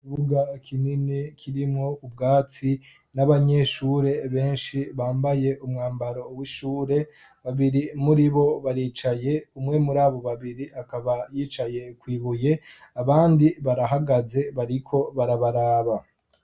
Ikibuga kinini kirimwo ubwatsi, n'abanyeshure benshi bambaye umwambaro w'ishure, babiri muri bo baricaye, umwe muri abo babiri akaba yicaye kw'ibuye, abandi barahagaze bariko barabaraba.